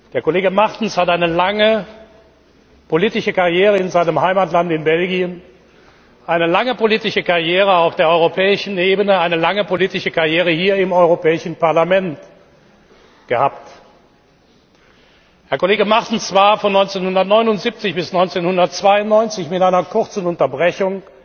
Der Kollege Martens hat eine lange politische Karriere in seinem Heimatland, in Belgien, eine lange politische Karriere auf der europäischen Ebene, eine lange politische Karriere hier im Europäischen Parlament gehabt. Herr Kollege Martens war von 1979 bis 1992 mit einer kurzen Unterbrechung